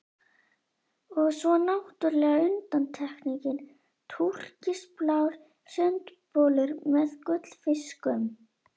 Og svo náttúrlega undantekningin, TÚRKISBLÁR SUNDBOLUR MEÐ GULLFISKUM.